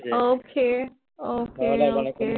okay okay okay